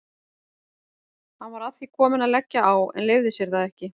Hann var að því kominn að leggja á en leyfði sér það ekki.